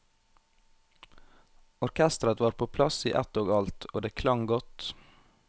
Orkestret var på plass i ett og alt, og det klang godt.